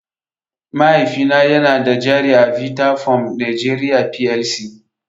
Mahaifina yana da jari a Vitafoam Nigeria Plc.